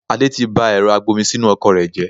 Adé tí bá ẹ̀rọ agbomisinu ọkọ̀ rẹ jẹ